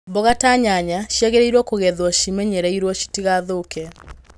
Mboga ta nyanya ciagĩrĩirwo kũgethwo cimenyereirwo citigathũke.